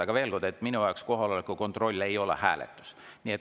Aga veel kord: minu jaoks kohaloleku kontroll ei ole hääletus.